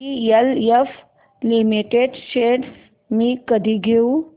DLF limited shares मी कधी घेऊ